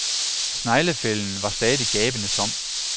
Sneglefælden var stadig gabende tom.